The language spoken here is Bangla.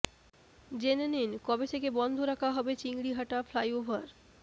জেনে নিন কবে থেকে বন্ধ রাকা হবে চিংড়িহাটা ফ্লাইওভার